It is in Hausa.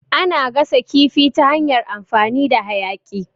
Ana gasa kifi ta hanyar amfani da hayaƙi.